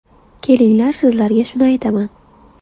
Kelinglar, sizlarga shuni aytaman.